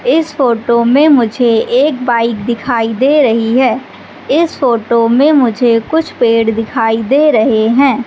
इस फोटो में मुझे एक बाइक दिखाई दे रही है इस फोटो में मुझे कुछ पेड़ दिखाई दे रहे हैं।